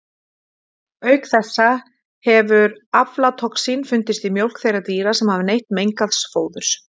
Auk þessa hefur aflatoxín fundist í mjólk þeirra dýra sem hafa neytt mengaðs fóðurs.